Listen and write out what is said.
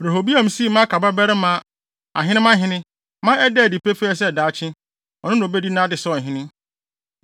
Rehoboam sii Maaka babarima Abia ahenemmahene ma ɛdaa adi pefee sɛ daakye, ɔno na obedi nʼade sɛ ɔhene.